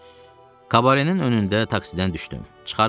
Kabarenin önündə taksidən düşdüm.